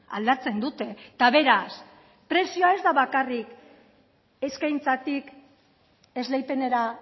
aldatzen dute eta beraz prezioa ez da bakarrik eskaintzatik esleipenera